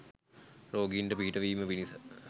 රෝගීන්ට පිහිටවීම පිණිස